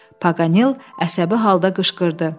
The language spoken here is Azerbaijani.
Paqanel əsəbi halda qışqırdı.